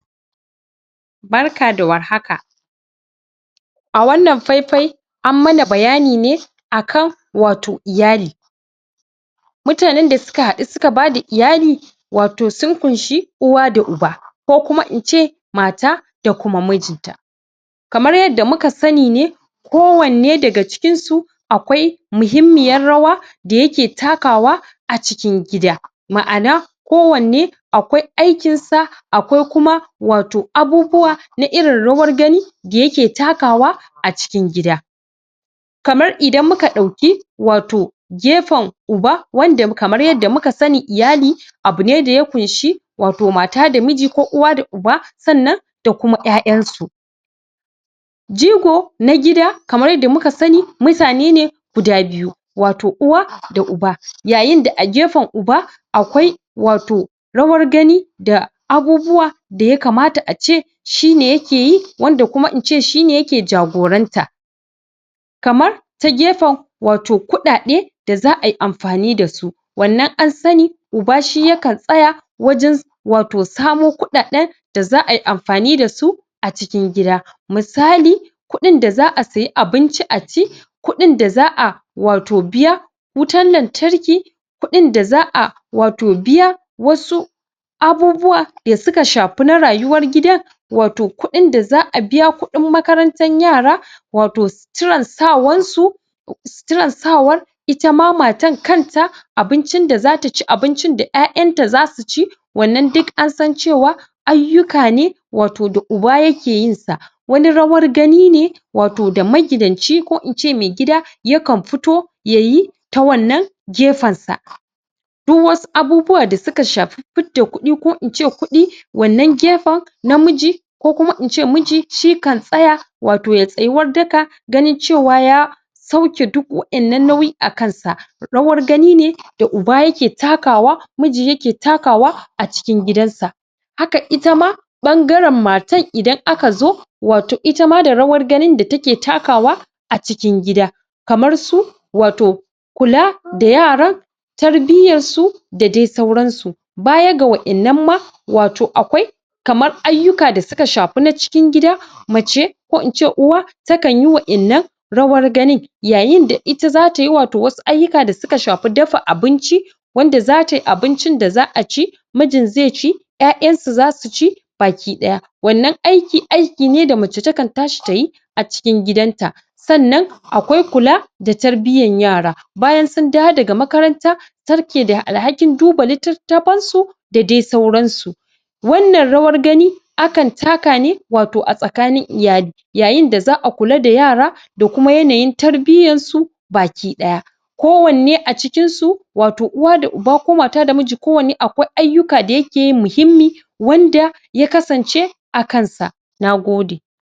Barka da warhaka, a wannan faifai an mana bayani ne akan wato iyali. mutanen da suka haɗu suka bada iyali, wato sun kunshi uwa da uba ko kuma in ce mata da kuma mijinta. kamar yadda muka sani ne kowanne daga cikinsu akwai muhimmiyar rawa da yake takawa a cikin gida ma'ana ko wanne akwai aikinsa akwai kuma wato abubuwa na irin rawar gani da yake takawa a cikin gida. kamar idan muka ɗauki wato gefen uba wanda kamar yadda muka sani iyali abu ne da ya kunshi wato mata da miji ko uwa da uba sannan da kuma ƴaƴansu Jigo na gida kamar yadda muka sani mutanene guda biyu wato uwa da uba. Yayinda a gefen uba akwai wato rawar gani da abubuwa da ya kamata ace shine yakeyi, wanda kuma ince shine yake jagoranta. kamar ta gefen wato kuɗaɗe da za'ayi amfani dasu wannan an sani uba shi yakan a tsaya wajen wato samo kuɗaɗen da za'ayi amfani dasu a cikin gida. Misali, kuɗin da za'a sayi abinci a ci kuɗin da za'a wato biya wutan lantarki kuɗin da za'a wato biya wasu abubuwa da suka shafi na rayuwar gidan wato kuɗin da za'a biya kuɗin makarantar yara wato suturar sawansu suturar sawan ita ma matar kanta abincin da zataci abincin da ƴaƴanta zasuci wannan duk ansan cewa ayyuka ne wato da uba yakeyin sa wani rawar ganine wato da magidanci ko ince mai gida yakan fito yayi ta wannan gefensa. duk wasu abubuwa da suka shafi fidda kuɗi ko ince kuɗi wannan gefen namiji ko kuma ince miji shi kan tsaya wato yayi tsayuwar daka ganin cewa ya sauke duk wa innan nauyin a kansa. Rawar gani ne da uba yake takawa, miji yake takawa a cikin gidansa. Haka ita ma ɓangaren matar idan aka zo wato itama da rawar ganin da take takawa a cikin gida, kamar su wato kula da yara, tarbiyyarsu da dai sauransu. Baya ga wa innan ma wato akwai kamar ayyuka da suka shafi na cikin gidaa mace, ko ince uwa ta kanyi wa innan rawar ganin yayinda ita zatayi wato wasu ayyuka da suka shafi dafa abinci wanda zatayi abincin da za'a ci mijin zai ci, ƴaƴansu zasu ci baki ɗaya. wannan aiki, aiki ne da mace takan tashi tayi a cikin gidanta. Sannan akwai kula da tarbiyyar yara, bayan sun dawo daga makaranta ita take da alhakin duba litattafan su da dai sauransu. Wannan rawar gani akan taka ne wato a tsakanin iyali yayinda za'a kula da yara da kuma yanayin tarbiyyar su baki ɗaya ko wanne a cikinsu wato uwa da uba ko mata da miji kowanne akwai ayyuka da yakeyi muhimmi wanda ya kasance a kansa. Nagode.